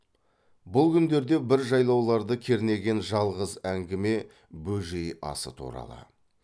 бұл күндерде бір жайлауларды кернеген жалғыз әңгіме бөжей асы туралы